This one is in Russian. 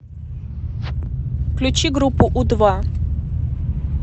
включи группу у два